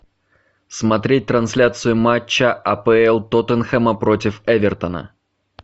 смотреть трансляцию матча апл тоттенхэма против эвертона